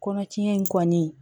Kɔnɔtiɲɛ in kɔni